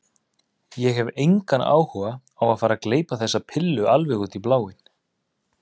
Ég hef engan áhuga á að fara að gleypa þessa pillu alveg út í bláinn.